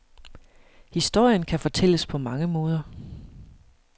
Historien kan fortælles på mange måder.